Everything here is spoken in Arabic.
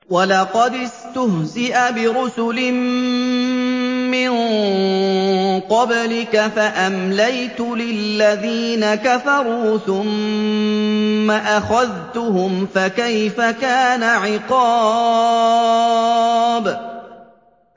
وَلَقَدِ اسْتُهْزِئَ بِرُسُلٍ مِّن قَبْلِكَ فَأَمْلَيْتُ لِلَّذِينَ كَفَرُوا ثُمَّ أَخَذْتُهُمْ ۖ فَكَيْفَ كَانَ عِقَابِ